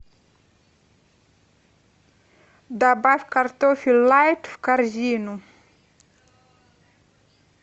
добавь картофель лайт в корзину